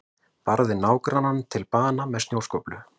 Barði nágrannann til bana með snjóskóflu